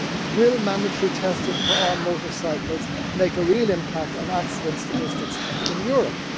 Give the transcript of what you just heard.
Will mandatory testing for all motorcycles make a real impact on accidents statistics in Europe?